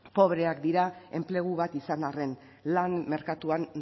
pobreak dira enplegu bat izan arren lan merkatuan